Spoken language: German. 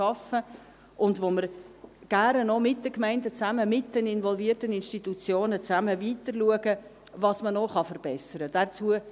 Wir schauen auch gerne gemeinsam mit den Gemeinden und den involvierten Institutionen, was man noch verbessern kann.